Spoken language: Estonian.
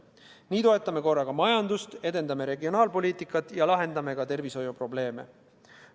Nii toetame korraga majandust, edendame regionaalpoliitikat ja lahendame ka tervishoiuprobleeme.